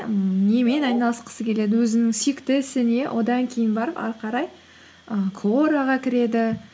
немен айналысқысы келеді өзінің сүйікті ісі не одан кейін барып ары қарай і куораға кіреді